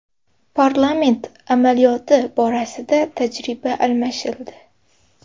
Parlament amaliyoti borasida tajriba almashildi.